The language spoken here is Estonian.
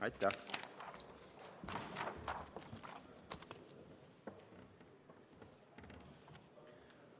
Aitäh!